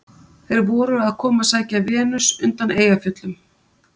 Þeir voru að koma að sækja Venus undan Eyjafjöllum.